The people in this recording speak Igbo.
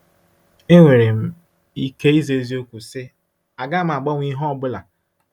Enwere m ike ịza eziokwu, sị: “Agaghị m agbanwe ihe ọ bụla!”